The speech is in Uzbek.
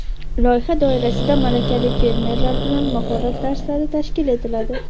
Loyiha doirasida malakali fermerlar bilan mahorat darslari tashkil etiladi.